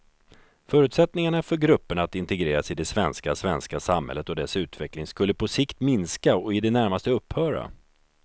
Förutsättningarna för grupperna att integreras i det svenska svenska samhället och dess utveckling skulle på sikt minska och i det närmaste upphöra.